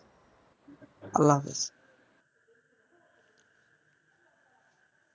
আল্লাহ হাফিজ.